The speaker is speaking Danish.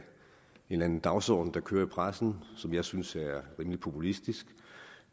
en eller anden dagsorden der kører i pressen som jeg synes er rimelig populistisk